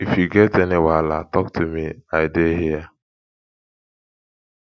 if you get any wahala talk to me i dey here